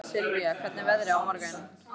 Sylvía, hvernig er veðrið á morgun?